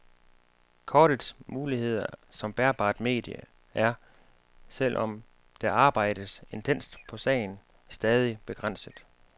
Kortets muligheder som bærbart medie er, selv om der arbejdes intenst på sagen, stadig begrænset.